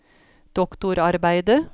doktorarbeidet